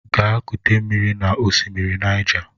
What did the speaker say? Gaa kute mmiri n'osimiri Naịja!